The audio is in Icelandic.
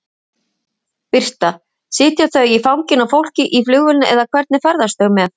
Birta: Sitja þau í fanginu á fólki í flugvélinni eða hvernig ferðast þau með?